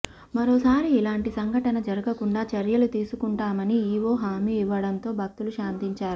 మరోసారి ఇలాంటి సంఘటన జరగకుండా చర్యలు తీసుకుంటామని ఈవో హామీ ఇవ్వటంతో భక్తులు శాంతించారు